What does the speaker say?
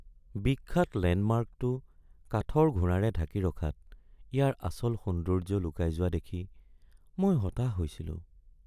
বিখ্যাত লেণ্ডমাৰ্কটো কাঠৰ ঘোঁৰাৰে ঢাকি ৰখাত ইয়াৰ আচল সৌন্দৰ্য লুকাই যোৱা দেখি মই হতাশ হৈছিলোঁ।